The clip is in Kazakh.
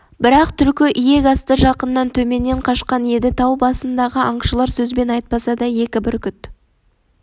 бірақ түлкі иек асты жақыннан төменнен қашқан еді тау басынддағы аңшылар сөзбен айтпаса да екі бүркіт